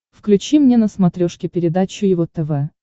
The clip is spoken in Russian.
включи мне на смотрешке передачу его тв